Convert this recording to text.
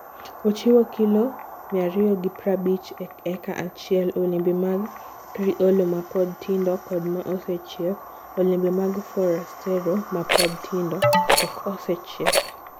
Ochiwo kilo 250 e eka kachiel, Olembe mag Criollo ma pod tindo kod ma osechiek Olembe mag Forastero ma pod tindo (ok osechiek)